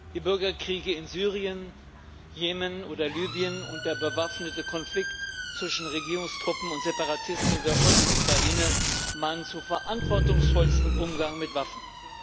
Die Bürgerkriege in Syrien, Jemen oder Libyen und der bewaffnete Konflikt zwischen Regierungstruppen und Separatisten in der Ostukraine mahnen zu verantwortungsvollstem Umgang mit Waffen.